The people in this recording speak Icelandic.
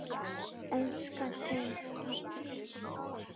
Elska þig, pabbi.